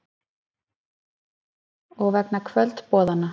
Og vegna kvöldboðanna.